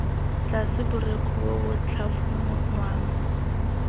tlase borekhu bo bo tlhafunwang